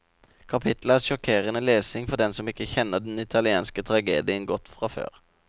Kapittelet er sjokkerende lesning for dem som ikke kjenner den italienske tragedien godt fra før.